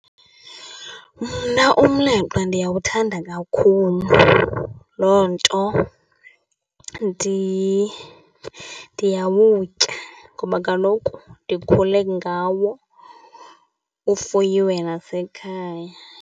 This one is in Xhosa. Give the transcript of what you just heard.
Mna umleqwa ndiyawuthanda kakhulu. Loo nto ndiyawutya ngoba kaloku ndikhule ngawo, ufuyiwe nasekhaya.